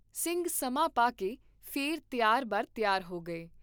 ਸਿੰਘ ਸਮਾਂ ਪਾ ਕੇ ਫੇਰ ਤਿਆਰ ਬਰ ਤਿਆਰ ਹੋ ਗਏ